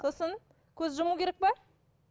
сосын көз жұму керек пе